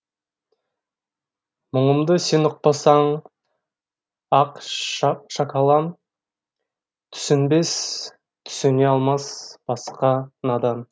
мұңымды сен ұқпасаң ақ шакалам түсінбес түсіне алмас басқа надан